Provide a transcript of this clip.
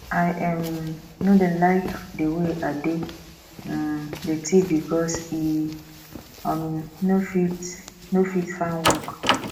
i um no dey like the way ade um dey thief because e um no fit no fit find work